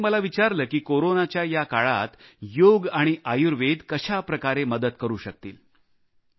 काही नेत्यांनी मला विचारले की कोरोनाच्या या काळात योग आणि आयुर्वेद कशाप्रकारे मदत करू शकतील